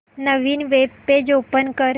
नवीन web page open कर